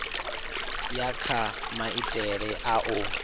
ya kha maitele a u